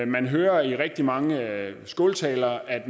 man hører i rigtig mange skåltaler at